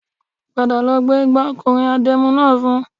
Padà lọ gbé igbà ọkùnrin adẹ́mu náà fún